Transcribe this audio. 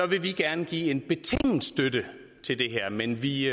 vi gerne give en betinget støtte til det her men vi